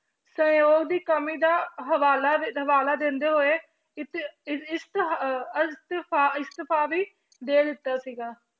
ਸਹਿਯੋਗ ਦੀ ਕਮੀ ਦਾ ਹਵਾਲਾ ਹਵਾਲਾ ਦਿੰਦੇ ਹੋਏ ਇੱਥੇ ਇਸ ਇਸ ਅਹ ਇਸਤੀਫ਼ਾ ਵੀ ਦੇ ਦਿੱਤਾ ਸੀਗਾ।